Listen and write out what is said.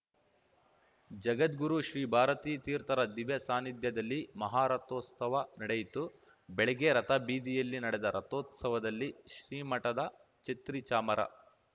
ಜಗದ್ಗುರು ಶ್ರೀ ಭಾರತೀ ತೀರ್ಥರ ದಿವ್ಯಸಾನಿಧ್ಯದಲ್ಲಿ ಮಹಾರಥೋತ್ಸವ ನಡೆಯಿತು ಬೆಳಗ್ಗೆ ರಥಬೀದಿಯಲ್ಲಿ ನಡೆದ ರಥೋತ್ಸವದಲ್ಲಿ ಶ್ರೀ ಮಠದ ಛತ್ರಿ ಚಾಮರ